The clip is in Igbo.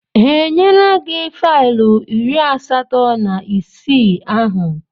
Ha enyela gị faịlụ iri asatọ na ise ahụ?